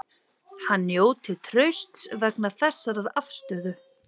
Hann njóti trausts vegna þessarar afstöðu